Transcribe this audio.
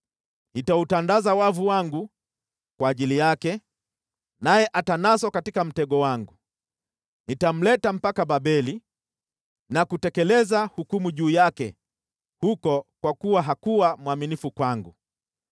Nitautandaza wavu wangu kwa ajili yake, naye atanaswa katika mtego wangu. Nitamleta mpaka Babeli na kutekeleza hukumu juu yake huko kwa kuwa hakuwa mwaminifu kwangu.